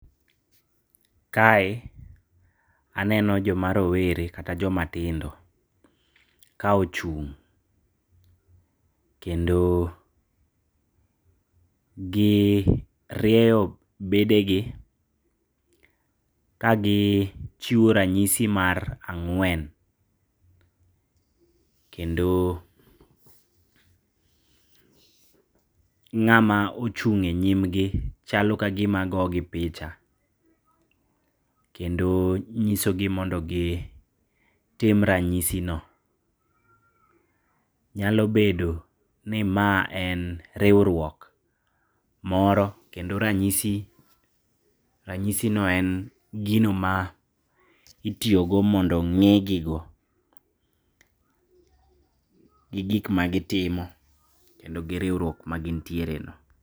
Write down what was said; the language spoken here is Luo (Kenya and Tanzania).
Kae aneno joma rowere kata jomatindo kaochung', kendo girieyo bedegi kagichiwo ranyisi mar ang'wen, kendo ng'ama ochung'e nyimgi chalo kagima gogi picha, kendo nyisogi mondo gitim ranyisino. Nyalo bedoni ma en riuruok moro kendo ranyisino en gino ma itiyogo mondo ng'egigo gi gikma gitimo kendo gi riuruok magintiereno.